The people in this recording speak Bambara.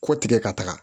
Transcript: Kɔ tigɛ ka taga